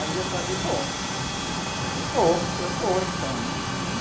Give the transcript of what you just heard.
Aí eu falei, bom, eu vou, eu vou então, né?